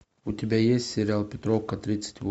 у тебя есть сериал петровка тридцать